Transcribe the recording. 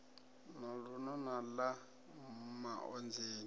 na luno na ḽa maonzeni